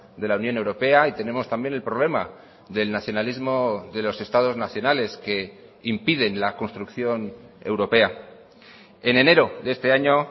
de la unión europea y tenemos también el problema del nacionalismo de los estados nacionales que impiden la construcción europea en enero de este año